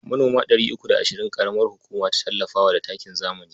Manoma three uku da ashirin ƙaramar hukuma ta tallafa wa da takin zamani.